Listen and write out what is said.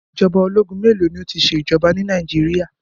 Ìjọba ológun mélòó ni ó ṣe ìjọba ni Nàìjíríà?